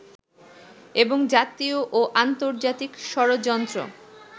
এবং জাতীয় ও আন্তর্জাতিক ষড়যন্ত্র